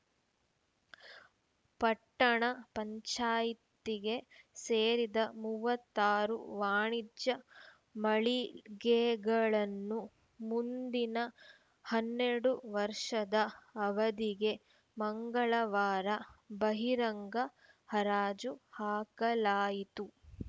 ಪಟ್ಟಣ ಪಂಚಾಯ್ತಿಗೆ ಸೇರಿದ ಮೂವತ್ತಾರು ವಾಣಿಜ್ಯ ಮಳಿಗೆಗಳನ್ನು ಮುಂದಿನ ಹನ್ನೆರಡು ವರ್ಷದ ಅವಧಿಗೆ ಮಂಗಳವಾರ ಬಹಿರಂಗ ಹರಾಜು ಹಾಕಲಾಯಿತು